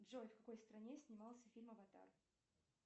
джой в какой стране снимался фильм аватар